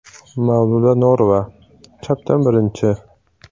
Mavluda Norova (chapdan birinchi).